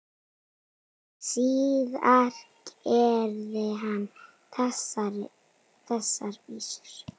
Síðar gerði hann þessar vísur: